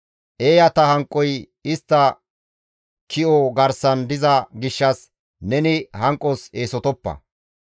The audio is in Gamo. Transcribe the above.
Eeyata hanqoy istta ki7o garsan diza gishshas neni hanqos eesotoppa.